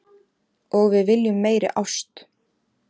Og við viljum meiri ást